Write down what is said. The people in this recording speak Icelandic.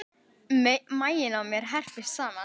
Maginn á mér herpist saman.